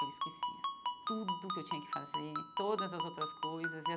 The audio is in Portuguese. Eu esquecia tudo que eu tinha que fazer, todas as outras coisas e.